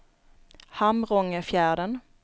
Hamrångefjärden